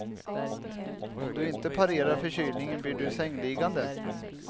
Om du inte parerar förkylningen blir du sängliggande.